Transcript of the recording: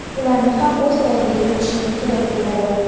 ularni ham o‘z ra’yingga yuritishing kerak bo‘ladi.